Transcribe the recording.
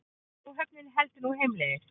Áhöfnin heldur nú heimleiðis